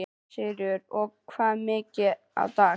Sigríður: Og hvað mikið á dag?